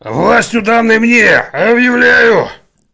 властью данной мне объявляю